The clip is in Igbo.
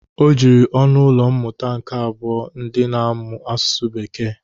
O jiri ọnụ ụlọ mmụta nke abụọ ndị na-amụ asụsụ bekee.